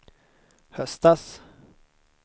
höstas